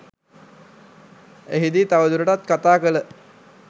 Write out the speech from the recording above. එහිදී තවදුරටත් කතා කළ